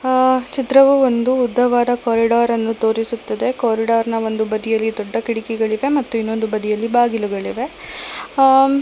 ಆ ಚಿತ್ರವು ಒಂದು ಉದ್ದವಾದ ಕಾರ್ರಿಡೋರನ್ನು ತೋರಿಸುತ್ತದೆ ಕಾರಿಡೋರ್ನ ಒಂದು ಬದಿಯಲ್ಲಿ ದೊಡ್ಡ ಕಿಟಕಿಗಳಿವೆ ಮತ್ತು ಇನ್ನೊಂದು ಬದಿಯಲ್ಲಿ ಬಾಗಿಲುಗಳಿವೆ ಆ --